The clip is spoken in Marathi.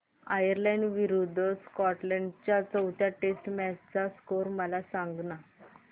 आयर्लंड विरूद्ध स्कॉटलंड च्या चौथ्या टेस्ट मॅच चा स्कोर मला सांगना